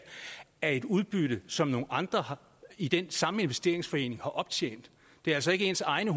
af et udbytte som nogle andre i den samme investeringsforening har optjent det er altså ikke ens egne